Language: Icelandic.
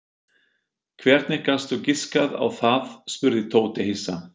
Hvernig gastu giskað á það? spurði Tóti hissa.